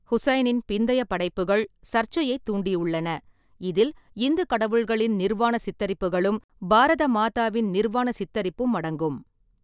ஹுசைனின் பிந்தைய படைப்புகள் சர்ச்சையைத் தூண்டியுள்ளன, இதில் இந்து கடவுள்களின் நிர்வாண சித்தரிப்புகளும், பாரத மாதாவை நிர்வாண சித்தரிப்பதும் அடங்கும்.